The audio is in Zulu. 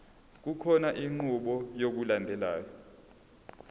kukhona inqubo yokulandelayo